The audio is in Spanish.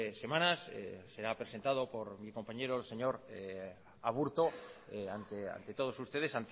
semanas será presentado por mi compañero señor aburto ante todos ustedes